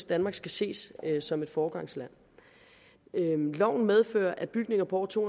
danmark skal ses som et foregangsland loven medfører at bygninger på over to